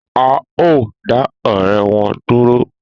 A o da ọrẹ wọn dúró